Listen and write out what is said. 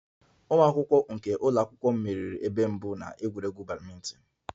Ụmụ akwụkwọ nke ụlọ akwụkwọ m meriri ebe mbụ na egwuregwu badminton